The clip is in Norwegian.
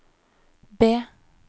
B